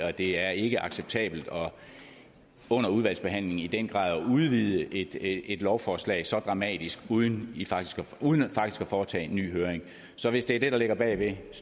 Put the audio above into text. at det er ikke acceptabelt under udvalgsbehandlingen i den grad at udvide et et lovforslag så dramatisk uden uden faktisk at foretage en ny høring så hvis det er det der ligger bag så